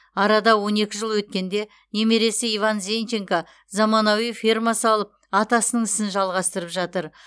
арада он екі жыл өткенде немересі иван зенченко заманауи ферма салып атасының ісін жалғастырып жатыр